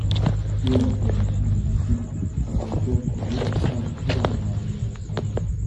bii a gbọdọ ṣiyemeji arun ẹjẹ corona cad fun awọn aami aisan rẹ